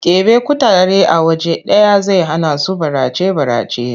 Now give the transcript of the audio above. Ƙeɓe kutare a waje ɗaya zai hanasu barace-barace.